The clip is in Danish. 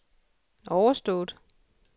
overstået